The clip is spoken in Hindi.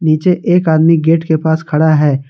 नीचे एक आदमी गेट के पास खड़ा है।